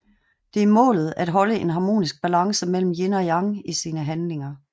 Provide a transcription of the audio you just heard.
Det er målet at holde en harmonisk balance mellem yin og yang i sine handlinger